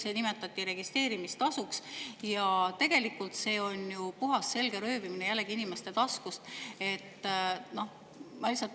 See nimetati registreerimistasuks, aga tegelikult see on jällegi puhas inimeste taskust röövimine.